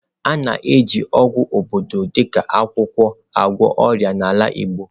A na-eji ọgwụ obodo dị ka akwụkwọ agwọ ọrịa n'ala igbo.